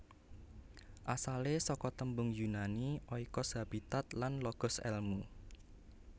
Asalé saka tembung Yunani oikos habitat lan logos èlmu